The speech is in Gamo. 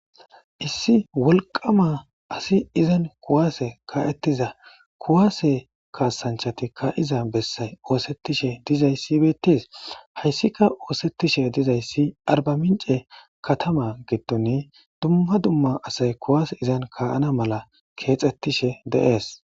Issi wolqqama asi izan kuwase ka'etiza kuwase kassanchatika ka'iza bessay othetishe dizayssi bettes.hayssika othetishe dizayssi Arbaminche kataman giddon dumma dumma asay kuwase izan ka'ana mala kexxetishe de'ees.